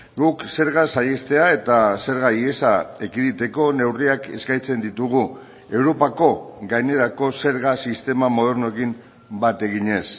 guk zerga saihestea eta zerga ihesa ekiditeko neurriak eskaintzen ditugu europako gainerako zerga sistema modernoekin bat eginez